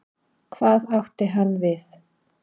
Hvað átti hann við?